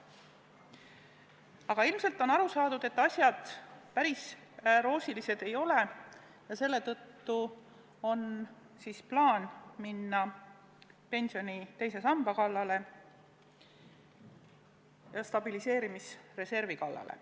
Aga ilmselt on aru saadud, et asjad päris roosilised ei ole, ja selle tõttu on plaan minna pensioni teise samba kallale ja stabiliseerimisreservi kallale.